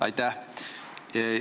Aitäh!